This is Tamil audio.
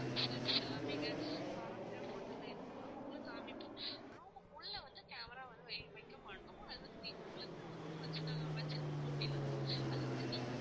இந்த மாதிரி facilities எங்க பாரம்பரியம் ஹோட்டல்ல இருக்கு ma'am. உங்களுக்கு காமிப்போம் room க்கு உள்ள வந்து camera வந்து வைக்க மாட்டோம். அது வந்து உங்களுக்குன்னு room வச்சிட்டாங்க வச்சிருக்கோம் அப்படின்னா அது வந்து நீங்க வந்து